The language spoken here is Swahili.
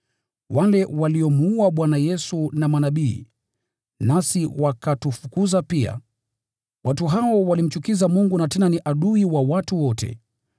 wale waliomuua Bwana Yesu na manabii, nasi wakatufukuza pia. Watu hao walimchukiza Mungu na tena ni adui wa watu wote,